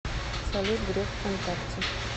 салют греф в контакте